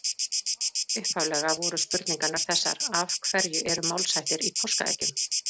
Upphaflega voru spurningarnar þessar: Af hverju eru málshættir í páskaeggjum?